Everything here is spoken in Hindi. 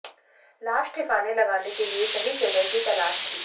लाश ठिकाने लगाने के लिए सही जगह की तलाश थी